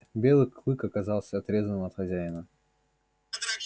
белый клык оказался отрезанным от хозяина